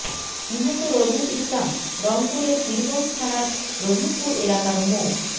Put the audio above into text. নিহত রবিউল ইসলাম রংপুরের পীরগঞ্জ থানার রহিমপুর এলাকার মো